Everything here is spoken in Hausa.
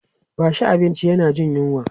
bashi abinci yana Jin yunwa!